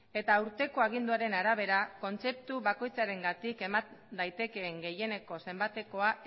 eta aurreko aginduaren arabera kontzeptu bakoitzarengatik eman daitekeen gehieneko zenbatekoa